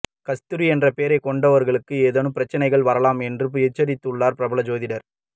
கஸ்தூரி என்ற பெயரை கொண்டவர்களுக்கு ஏதேனும் பிரச்சனைகள் வரலாம் என்றும் எச்சரித்துள்ளார் பிரபல ஜோதிடர்